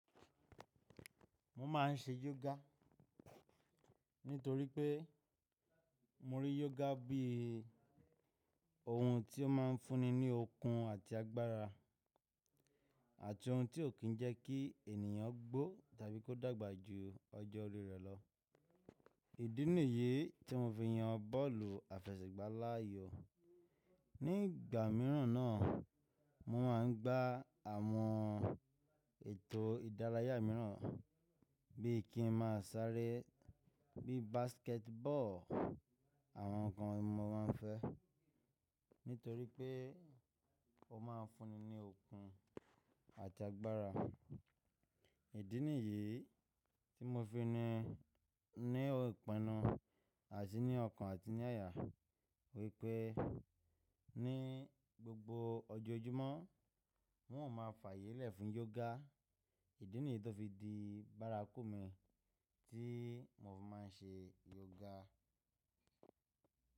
Mo máà ń ṣe yoga nítorí pé mo rí yoga bí ohun tí ó máa ń fúnni ní okun àti agbára àti ohun tí ó kì n jẹ́ kí ènìyàn gbó tàbí kó dàgbà ju ọjọ́ orí rẹ̀ lọ. Ìdí nìyí tí mo fi yan bọ́ọ̀lù àfẹsẹ̀gbá láàyò. Ní ìgbà mìíràn náà mo máa ń gbá àwọn ètò ìdárayá míràn bí i kí n máa sáré bíi basketball. Àwọn nǹkan yen mo máa ń fẹ́ nítorí pé ó máa ń fúnni ní okun àti agbára. Ìdí nìyí tí mo fi ni ní ìpinnu àti ní ọkàn àti ní àyà wípé ní gbogbo ọjọ́ojúmọ́ won o máa fààyè lẹ̀ fún yoga. Ìdí nìyí tó fi di bárakú mi tí mo fi máa ń ṣe yoga.